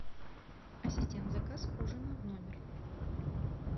ассистент заказ ужина в номер